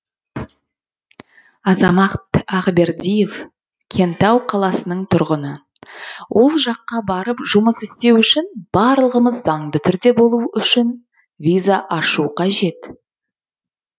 азамат ақбердиев кентау қаласының тұрғыны ол жаққа барып жұмыс істеу үшін барлығы заңды түрде болуы үшін виза ашу қажет